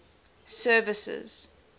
services